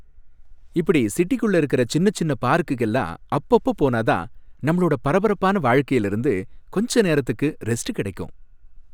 இப்படி சிட்டிக்குள்ள இருக்குற சின்னச் சின்ன பார்க்குக்கெல்லாம் அப்பப்ப போனா தான் நம்மளோட பரபரப்பான வாழ்க்கையில இருந்து கொஞ்ச நேரத்துக்கு ரெஸ்ட் கிடைக்கும்.